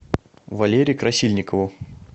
валере красильникову